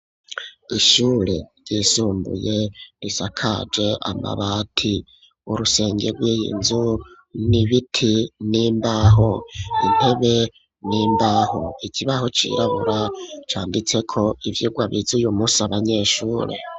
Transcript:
Ishure yisumbuye risakaje amabati urusenge rw'iyinzu nibiti n'imbaho intebe n'imbaho ikibaho cirabura canditse ko ivyigwa bize uyumusi abanyeshure.